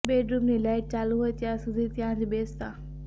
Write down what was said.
બેડરૂમની લાઈટ ચાલુ હોય ત્યાં સુધી ત્યાં જ બેસતા